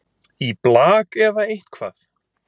í blak eða eitthvað